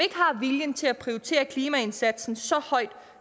har viljen til at prioritere klimaindsatsen så højt